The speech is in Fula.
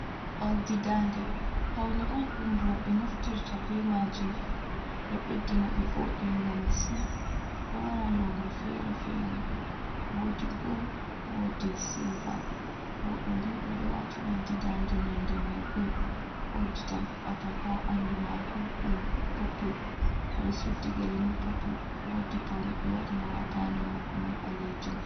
Oldi dande paune on ɗum roɓe naftirta be majum ɗo beddina ɓe voduga massin ɗo wara launu fere-fere wodi gol wodi silva oɗo ni oɗo wati oldi dande nonde mai gol wodi atampa ha ɓandu mako ɗum poppul oɗo suddi gele ma popul wodi paune ɓe waɗi ha dande mako mai ɓalejum.